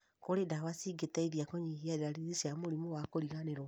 kũrĩ ndawa cingĩteithia kũnyihia ndariri cia mũrimũ wa kũriganĩrũo